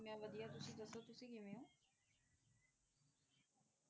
ਮੈਂ ਵਧੀਆ ਤੁਸੀ ਦਸੋ ਤੁਸੀ ਕਿਵੇਂ ਓ